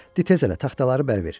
Tez elə taxtaları bəril ver.